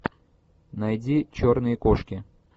найди черные кошки